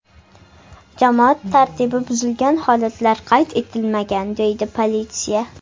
Jamoat tartibi buzilgan holatlar qayd etilmagan”, deydi politsiya.